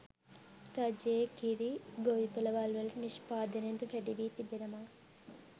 රජයේ කිරි ගොවිපළවල්වල නිෂ්පාදනයද වැඩි වී තිබෙනවා